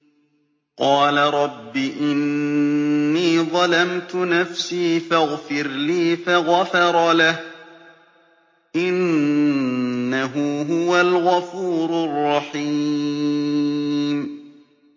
قَالَ رَبِّ إِنِّي ظَلَمْتُ نَفْسِي فَاغْفِرْ لِي فَغَفَرَ لَهُ ۚ إِنَّهُ هُوَ الْغَفُورُ الرَّحِيمُ